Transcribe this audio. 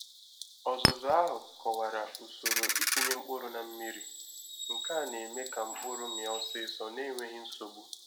Ọzụzụ ahụ kọwara usoro ịtinye mkpụrụ na mmiri, nke a na-eme ka mkpụrụ mịa ọsịsọ na-enweghi nsogbu